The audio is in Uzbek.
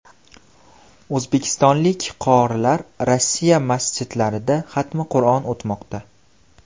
O‘zbekistonlik qorilar Rossiya masjidlarida xatmi Qur’on o‘tmoqda .